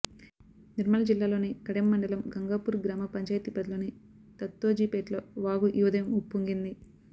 నిర్మల్ జిల్లాలోని కడెం మండలం గంగాపూర్ గ్రామపంచాయతీ పరిధిలోని దత్తోజిపేట్లో వాగు ఈ ఉదయం ఉప్పొంగింది